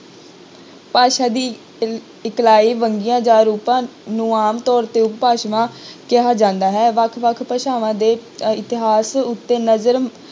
ਭਾਸ਼ਾ ਦੀ ਇਲ~ ਇਕਲਾਈ ਵੰਨਗੀਆਂ ਜਾਂ ਰੂਪਾਂ ਨੂੰ ਆਮ ਤੌਰ ਤੇ ਉਪਭਾਸ਼ਾਵਾਂ ਕਿਹਾ ਜਾਂਦਾ ਹੈ, ਵੱਖ ਵੱਖ ਭਾਸ਼ਾਵਾਂ ਦੇ ਅਹ ਇਤਿਹਾਸ ਉੱਤੇ ਨਜ਼ਰ